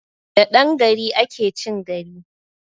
Da dan gari ake chin gari!